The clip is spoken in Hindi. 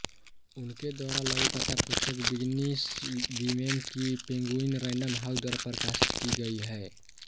उनके द्वारा लघुकथा पुस्तक बिजनिस वीमेन की पेंगुइन रैंडम हाउस द्वारा प्रकाशित की गई है